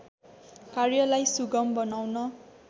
कार्यलाई सुगम बनाउन